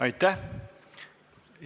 Aitäh!